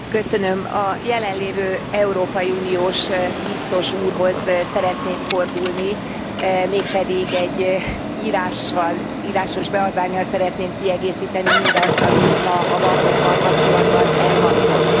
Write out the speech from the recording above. Elnök Úr, a jelen lévő európai uniós Biztos Úrhoz szeretnék fordulni, mégpedig egy írásos beadvánnyal szeretném kiegészíteni mindazt, ami itt ma a bankokkal kapcsolatban elhangzott.